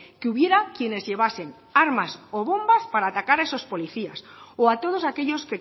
que hubiera quienes llevasen armas o bombas para atacar a esos policías o a todos aquellos